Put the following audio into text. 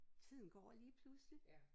Tiden går lige pludselig